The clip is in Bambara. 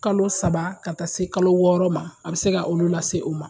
Kalo saba ka taa se kalo wɔɔrɔ ma a bɛ se ka olu lase u ma